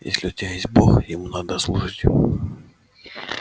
если у тебя есть бог ему надо служить